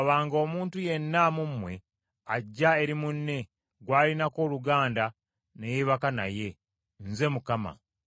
“ ‘Tewabanga omuntu yenna mu mmwe ajja eri munne gw’alinako oluganda ne yeebaka naye. Nze Mukama .